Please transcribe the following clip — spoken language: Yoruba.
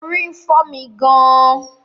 Orí ń fọ́ mi gàn-an